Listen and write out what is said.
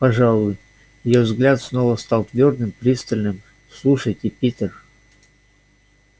пожалуй её взгляд снова стал твёрдым и пристальным слушайте питер